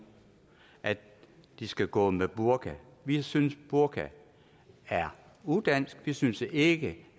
at de skal gå med burka vi synes burka er udansk vi synes ikke